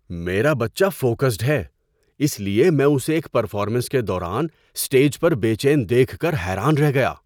میرا بچہ فوکسڈ ہے، اس لیے میں اسے ایک پرفارمنس کے دوران اسٹیج پر بے چین دیکھ کر حیران رہ گیا۔